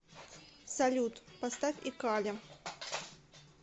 салют поставь экали